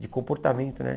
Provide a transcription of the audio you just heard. De comportamento, né?